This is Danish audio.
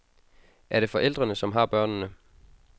Er det forældrene, som har børnene?